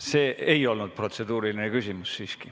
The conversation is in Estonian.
See siiski ei olnud protseduuriline küsimus.